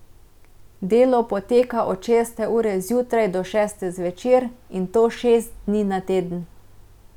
Delo poteka od šeste ure zjutraj do šeste zvečer, in to šest dni na teden.